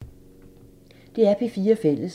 DR P4 Fælles